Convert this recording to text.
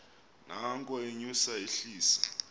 nanko enyusa ehlisa